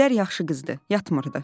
Gülər yaxşı qızdı, yatmırdı.